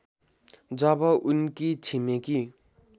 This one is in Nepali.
जब उनकी छिमेकी